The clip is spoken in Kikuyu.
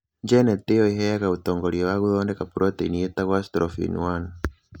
Genetĩ ĩyo ĩheanaga ũtongoria wa gũthondeka proteini ĩtagwo atrophin 1.